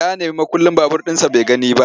Ya nemi mukullin babur ɗinsa bai gani ba.